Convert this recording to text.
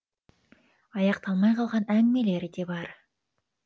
аяқталмай қалған әңгімелері де бар